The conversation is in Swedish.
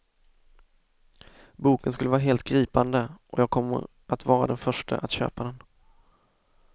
Boken skulle vara helt gripande och jag kommer att vara den förste att köpa den.